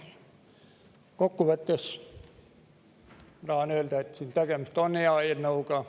Kokkuvõtteks tahan ma öelda, et tegemist on hea eelnõuga.